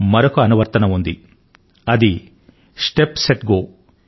మరొక అనువర్తనం ఉంది అది స్టెప్ సెట్ గో